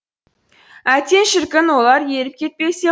әттен шіркін олар еріп кетпесе